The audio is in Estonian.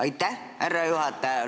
Aitäh, härra juhataja!